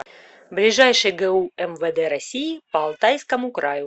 ближайший гу мвд россии по алтайскому краю